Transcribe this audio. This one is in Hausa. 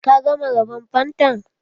Ka gama raban fantan?